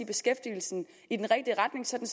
beskæftigelsen i den rigtige retning sådan